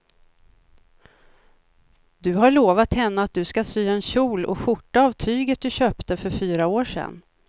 Du har lovat henne att du ska sy en kjol och skjorta av tyget du köpte för fyra år sedan.